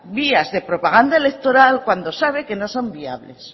vías de propaganda electoral cuando sabe que no son viables